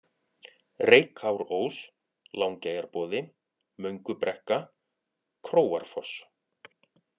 Reykárós, Langeyjarboði, Möngubrekka, Króarfoss